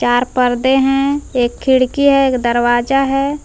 चार पर्दे हैं एक खिड़की है एक दरवाजा है।